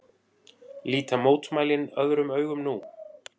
Líta mótmælin öðrum augum nú